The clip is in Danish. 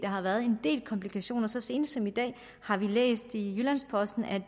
har været en del komplikationer så sent som i dag har vi læst i jyllands posten at